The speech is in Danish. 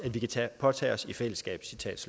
vi kan påtage os i fællesskab